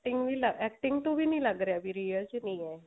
acting acting ਤੋਂ ਵੀ ਨੀ ਲੱਗ ਰਿਹਾ ਵੀ real life ਚ ਹੈ ਇਹ